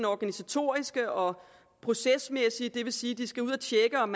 organisatoriske og procesmæssige det vil sige at de skal ud at tjekke om